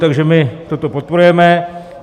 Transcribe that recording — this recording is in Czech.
Takže my toto podporujeme.